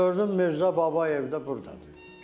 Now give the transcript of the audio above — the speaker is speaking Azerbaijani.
Gördüm Mirzə Babayev də burdadır.